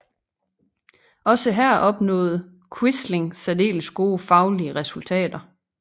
Også her opnåede Quisling særdeles gode faglige resultater